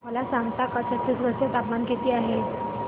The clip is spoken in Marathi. मला सांगता का छत्तीसगढ चे तापमान किती आहे